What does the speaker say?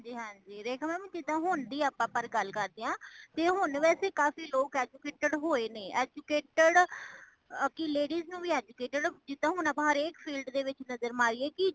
ਹਾਂਜੀ ਹਾਂਜੀ , ਰੇਖਾ mamਜੇਦਾ ਹੋਨਦੀ ਆਪਾ ਪਰ ਗੱਲ ਕਰਦੇ ਹਾਂ , ਤੇ ਹੋਣ ਵੈਸੇ ਕਾਫ਼ੀ ਲੋਗ educated ਹੋਏ ਨੇ , educated ਕੀ ladies ਨੂੰ ਵੀ educated ਜਿੱਦਾਂ ਹੁਣ ਆਪਾ ਹਰ ਇਕ field ਵਿੱਚ ਨਜ਼ਰ ਮਾਰੀਏ ਕੀ